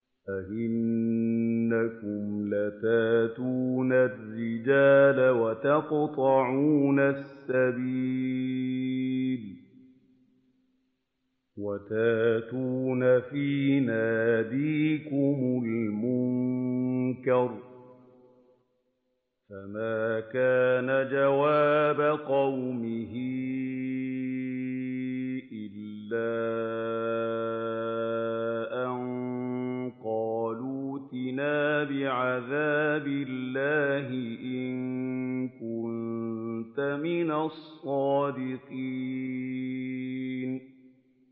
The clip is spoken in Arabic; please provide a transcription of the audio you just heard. أَئِنَّكُمْ لَتَأْتُونَ الرِّجَالَ وَتَقْطَعُونَ السَّبِيلَ وَتَأْتُونَ فِي نَادِيكُمُ الْمُنكَرَ ۖ فَمَا كَانَ جَوَابَ قَوْمِهِ إِلَّا أَن قَالُوا ائْتِنَا بِعَذَابِ اللَّهِ إِن كُنتَ مِنَ الصَّادِقِينَ